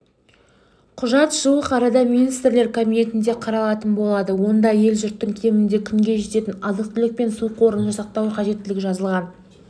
құжат жуық арада министрлер кабинетінде қаралатын болады онда ел-жұрттің кемінде күнге жететін азық-түлік пен су қорын жасақтау қажеттігі жазылған